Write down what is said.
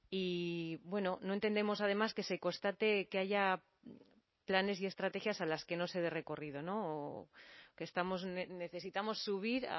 y bueno no entendemos además que se constate que haya planes y estrategias a las que no se dé recorrido que estamos necesitamos subir